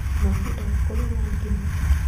Mwangi ndoĩ kũruga ngima.